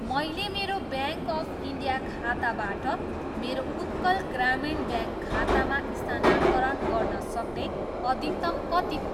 मैले मेरो bank of India खाताबाट मेरो उत्कल ग्रामीण ब्याङ्क खातामा स्थानान्तरण गर्न सक्ने अधिकतम कति हो?